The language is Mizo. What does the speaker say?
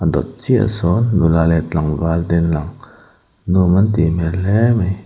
a dawt chiah ah hian nula leh tlangval te an lang nuam an tih hmel hle mai.